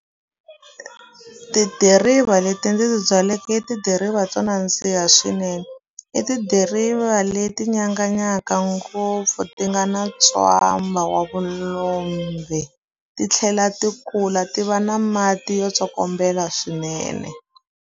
Tidiriva leti ndzi ti byaleke i tidiriva to nandziha swinene i tidiriva leti nyanganyaka ngopfu ti nga na ntswamba wa vulombe ti tlhela ti kula ti va na mati yo tsokombela swinene.